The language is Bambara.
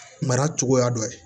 Mara cogoya dɔ ye